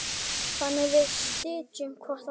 Þannig við styðjum hvorn annan.